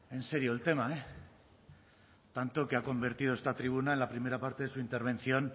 en serio el tema eh tanto que ha convertido esta tribuna en la primera parte de su intervención